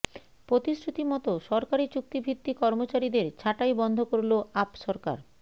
প্রতিশ্রুতি মত সরকারি চুক্তি ভিত্তিক কর্মচারীদের ছাঁটাই বন্ধ করল আপ সরকার